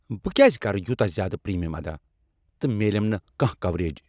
بہٕ کیٛازِ كرٕ یوتاہ زیادٕ پریمیم ادا تہٕ میلیم نہٕ كانہہ کوریج ؟